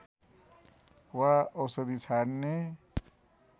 वा औषधि छाड्ने